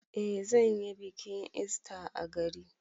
Eh zan yi bikin ista a gari.